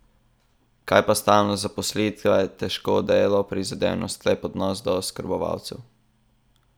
Kaj pa stalnost zaposlitve, težko delo, prizadevnost, lep odnos do oskrbovancev?